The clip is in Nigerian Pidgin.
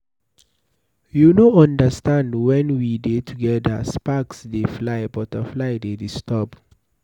You no understand. Wen we dey together sparks dey fly, butterfly dey disturb.